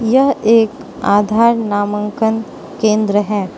यह एक आधार नामांकन केंद्र है।